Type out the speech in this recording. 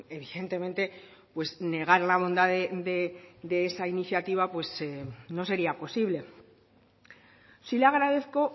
evidentemente negar la bondad de esa iniciativa no sería posible sí le agradezco